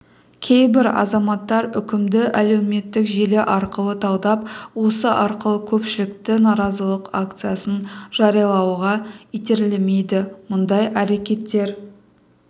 кейбір азаматтар үкімді әлеуметтік желі арқылы талдап осы арқылы көпшілікті наразылық акциясын жариялауға итермелейді мұндай әрекеттер